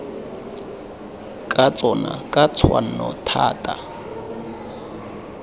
ka tsona ka tshwanno thata